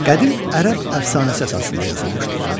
Qədim Ərəb əfsanəsi əsasında yazılmışdır.